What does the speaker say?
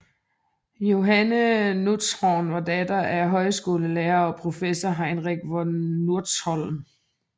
Johanne Nutzhorn var datter af højskolelærer og professor Heinrich von Nutzhorn